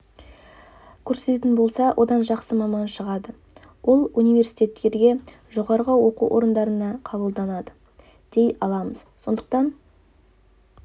көрсететін болса одан жақсы маман шығады ол университеттерге жоғарғы оқу орындарына қабылданады дей аламыз сондықтан